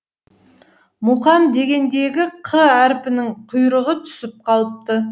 мұқан дегендегі қ әрпінің құйрығы түсіп қалыпты